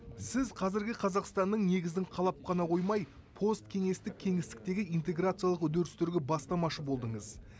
сіз қазіргі қазақстанның негізін қалап қана қоймай посткеңестік кеңістіктегі интеграциялық үрдістерге бастамашы болдыңыз